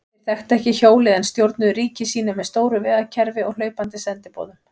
Þeir þekktu ekki hjólið en stjórnuðu ríki sínu með stóru vegakerfi og hlaupandi sendiboðum.